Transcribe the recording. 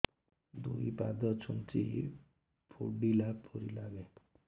ଦୁଇ ପାଦ ଛୁଞ୍ଚି ଫୁଡିଲା ପରି ଲାଗେ